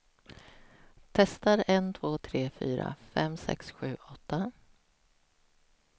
Testar en två tre fyra fem sex sju åtta.